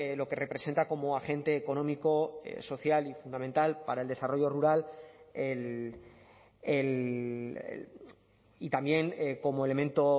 lo que representa como agente económico social y fundamental para el desarrollo rural el y también como elemento